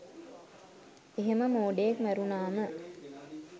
එහෙම මෝඩයෙක් මැරුණාම